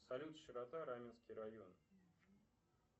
салют широта раменский район